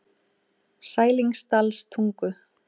Sælingsdalstungu